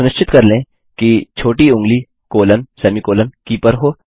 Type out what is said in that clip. सुनिश्चित कर लें कि छोटी ऊँगली कॉलनसेमीकॉलन की पर हो